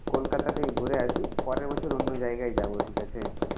কলকাতা থেকে ঘুরে আসি, পরের বছর অন্য জায়গায় যাব। ঠিক আছে?